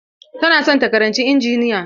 Tana son ta karanci injiniya.